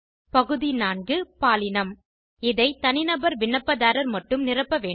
பகுதி 4 பாலினம் இதை தனிநபர் விண்ணப்பதாரர் மட்டும் நிரப்ப வேண்டும்